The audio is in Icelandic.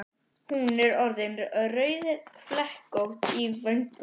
Hún er orðin rauðflekkótt í vöngum.